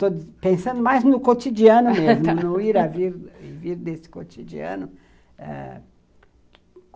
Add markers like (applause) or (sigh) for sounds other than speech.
Estou pensando mais no cotidiano mesmo, (laughs) no ir a vir desse cotidiano.